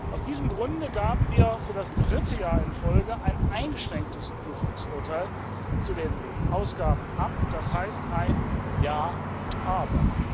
Aus diesem Grund gaben wir für das dritte Jahr in Folge ein eingeschränktes Prüfungsurteil zu den Ausgaben ab, das heißt ein ja, aber.